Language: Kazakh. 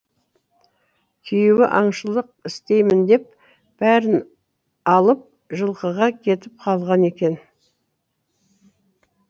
күйеуі аңшылық істеймін деп бәрін алып жылқыға кетіп қалған екен